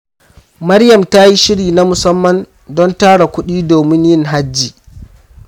Maryam ta yi shiri na musamman don tara kudi domin yin hajji.